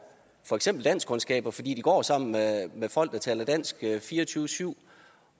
for eksempel danskkundskaber fordi de går sammen med folk der taler dansk fire og tyve syv